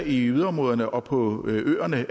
i yderområderne og på øerne